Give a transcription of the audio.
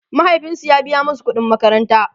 mahaifinsu ya biya masu ƙuɗin makaranta